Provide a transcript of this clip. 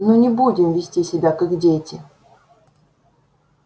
ну не будем вести себя как дети